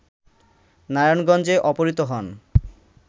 নারায়ণগঞ্জে অপহৃত হন